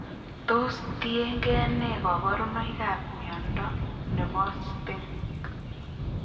Tos tien gee nee kabarunaik ab mnyondo noton nebo STING